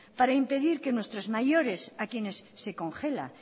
para impedir que nuestros mayores a quienes se congela